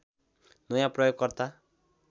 नयाँ प्रयोगकर्ता